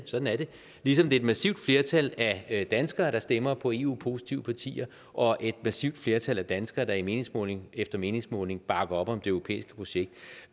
sådan er det ligesom et massivt flertal af af danskerne stemmer på eu positive partier og et massivt flertal af danskerne i meningsmåling efter meningsmåling bakker op om det europæiske projekt